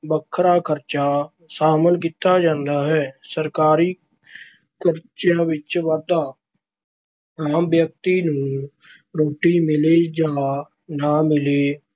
ਵੱਖਰਾ ਖ਼ਰਚਾ ਸ਼ਾਮਲ ਕੀਤਾ ਜਾਂਦਾ ਹੈ। ਸਰਕਾਰੀ ਖ਼ਰਚਿਆਂ ਵਿੱਚ ਵਾਧਾ- ਆਮ ਵਿਅਕਤੀ ਨੂੰ ਰੋਟੀ ਮਿਲੇ ਜਾਂ ਨਾ ਮਿਲੇ